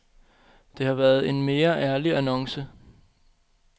Det havde været en mere ærlig annonce.